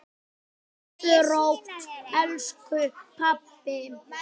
Sofðu rótt, elsku pabbi.